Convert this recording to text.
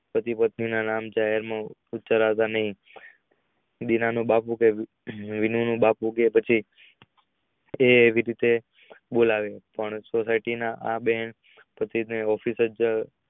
પતિ પત્ની ના નામ વિનય ના બાપુ કે પછી એવી રીતે બોલાવીયો.